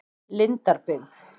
Lindarbyggð